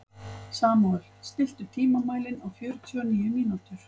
Samúel, stilltu tímamælinn á fjörutíu og níu mínútur.